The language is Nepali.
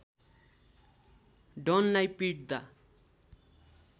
डनलाई पिट्दा